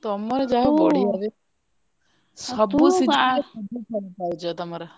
ତମର ଯାହଉ ବଢିଆରେ ଶୁଣୁ ସବୁ session ରେ ସବୁ ତୁ ସବୁ ପାଉଛ ତମର।